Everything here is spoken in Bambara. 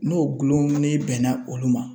N'o gulon ni bɛnna olu ma